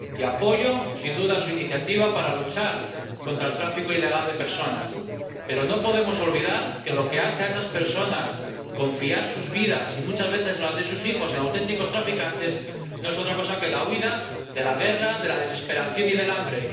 Apoyo, sin duda, su iniciativa para luchar contra el tráfico ilegal de personas, pero no podemos olvidar que lo que hace a esas personas confiar sus vidas, y muchas veces las de sus hijos, a auténticos traficantes, no es otra cosa que la huida de la guerra, de la desesperación y del hambre.